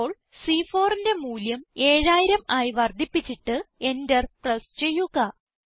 ഇപ്പോൾ C4ന്റെ മൂല്യം 7000 ആയി വർദ്ധിപ്പിച്ചിട്ട് Enter പ്രസ് ചെയ്യുക